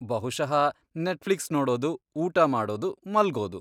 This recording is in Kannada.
ಬಹುಶಃ ನೆಟ್ಫ್ಲಿಕ್ಸ್ ನೋಡೋದು, ಊಟ ಮಾಡೋದು, ಮಲ್ಗೋದು.